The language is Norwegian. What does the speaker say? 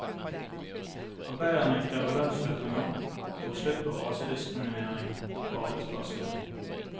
Arbeiderne krever lønnsøkninger og slutt på rasediskriminering på arbeidsplassene.